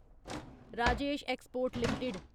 Rajesh export limited